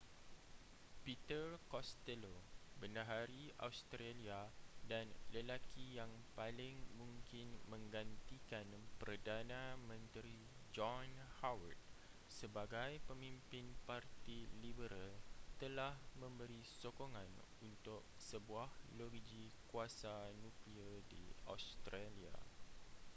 peter costello bendahari australia dan lelaki yang paling mungkin menggantikan perdana menteri john howard sebagai pemimpin parti liberal telah memberi sokongan untuk sebuah loji kuasa nuklear di australia